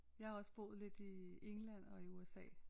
Jeg har også boet lidt i England og i USA